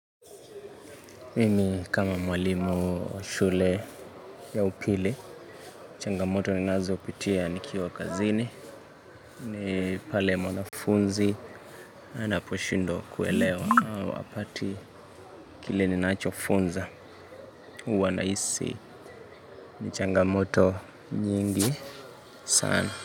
Mimi kama mwalimu shule ya upili changamoto ninazo pitia nikiwa kazini ni pale mwanafunzi Anaposhindwa kuelewa wakati kile ninacho funza Uwa naisi ni changamoto nyingi sana.